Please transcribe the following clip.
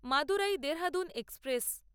Madurai Dehradun express